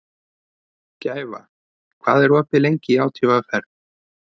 Gæfa, hvað er opið lengi í ÁTVR?